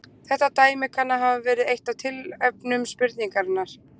Þetta dæmi kann að hafa verið eitt af tilefnum spurningarinnar.